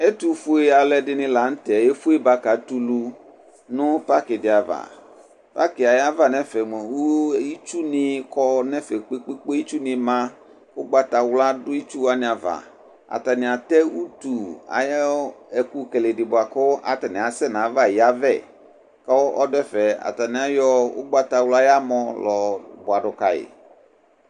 Ɛtʋfue aluɛdɩnɩ la n'tɛ efueba kayɛ ulu nʋ parkɩ dɩ ava Parkɩ yɛ ayava n'ɛfɛ mua itsunɩ kɔ n'ɛfɛ kpekpekpe, itsunɩ ma k'ʋgbatawla dʋ itsuwanɩ ava Atanɩ atɛ utusyʋ ekʋkele dɩ bʋa kʋ atanɩ asɛ n'ayava yavɛ kʋ ɔdʋ ɛfɛ, atanɩ ayɔ ʋgbatawla ayʋ amɔ la yɔ bʋa dʋ kayi